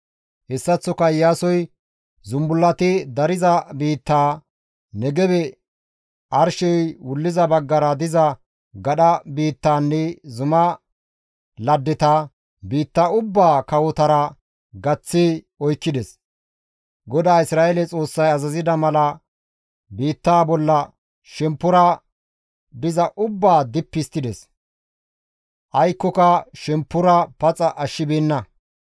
Hessaththoka Iyaasoy zumbullati dariza biittaa, Negebe, arshey wulliza baggara diza gadha biittanne zuma laddeta, biitta ubbaa kawotara gaththi oykkides. GODAA Isra7eele Xoossay azazida mala biittaa bolla shemppora diza ubbaa dippi histtides; aykkoka shemppora paxa ashshibeenna.